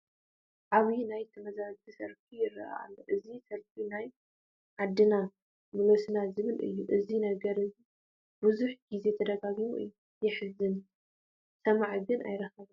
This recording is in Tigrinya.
ዓብዪ ናይ ተመዛበልቲ ሰልፊ ይርአ ኣሎ፡፡ እዚ ሰልፊ ናብ ዓድና ምለሱና ዝብል እዩ፡፡ እዚ ነገር ብዙሕ ጊዜ ተደጋጊሙ እዩ፡፡ የሕዝን፡፡ ሰማዒ ግን ኣይረኸበን፡፡